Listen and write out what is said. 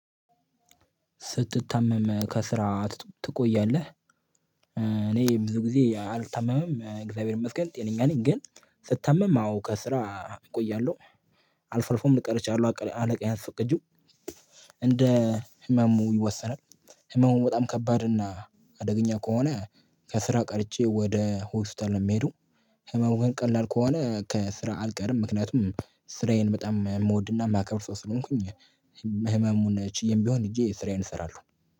ስትታመም ከስራ ትቆያለህ? እኔ ብዙ ጊዜ አልታመምም እግዚአብሔር ይመስገን ጤነኛ ነኝ ግን ስታመም አዎ ከስራ እቆያለሁ። አልፎ አልፎም እቀራለሁ አለቃዬን አስፈቅጂው እንደ ህመሙ ይወሰናል። ህመሙን በጣም ከባድ እና አደገኛ ከሆነ ከስራ ቀርቼ ወደ ሆስፒታል ነው የሚሄዱ። ህመም ግን ቀላል ከሆነ ከስራ አልቀርም ምክንያቱም ስራዬን በጣም የምወድና የማከብር ሰው ስለሆንኩኝ። ህመሙን ቺዬም ቢሆን ሄጄ ስራዬን እሰራለሁ